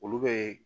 Olu bɛ